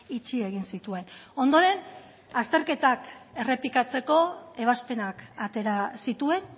itxi egin zituen ondoren azterketak errepikatzeko ebazpenak atera zituen